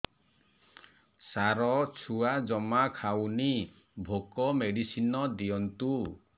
ସାର ଛୁଆ ଜମା ଖାଉନି ଭୋକ ମେଡିସିନ ଦିଅନ୍ତୁ